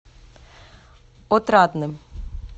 отрадным